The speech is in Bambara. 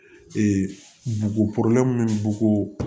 bugu minnu b'u